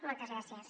moltes gràcies